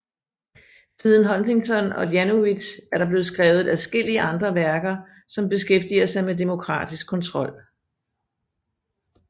Siden Huntington og Janowitz er der blevet skrevet adskillige andre værker som beskæftiger sig med demokratisk kontrol